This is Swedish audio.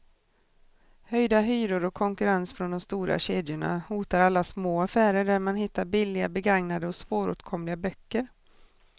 Höjda hyror och konkurrens från de stora kedjorna hotar alla små affärer där man hittar billiga, begagnade och svåråtkomliga böcker.